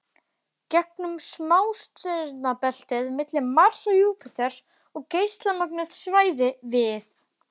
gegnum smástirnabeltið milli Mars og Júpíters og geislamögnuð svæði við